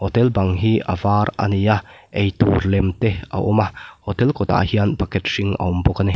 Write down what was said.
hotel bang hi a var a ni a eitur lem te a awm a hotel kawt ah hian bucket hring a awm bawk a ni.